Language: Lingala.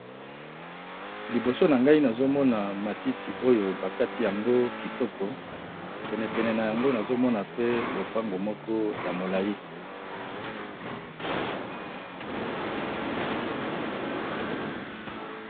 Liboso na ngai nazomona matiti oyo bakati yango kitoko penepene na yango nazomona pe lopango moko ya molai.